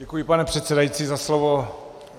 Děkuji, pane předsedající, za slovo.